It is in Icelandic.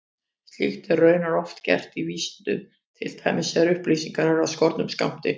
Slíkt er raunar oft gert í vísindum, til dæmis þegar upplýsingar eru af skornum skammti.